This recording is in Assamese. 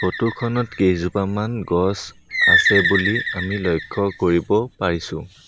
ফটো খনত কেইজোপামান গছ আছে বুলি আমি লক্ষ্য কৰিব পাৰিছোঁ।